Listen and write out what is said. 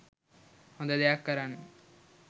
හොඳ දෙයක් කරන්න.